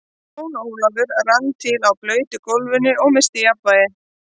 Jón Ólafur rann til á blautu gólfinu og missti jafnvlgið.